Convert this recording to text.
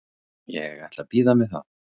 Ég ætla að bíða með það.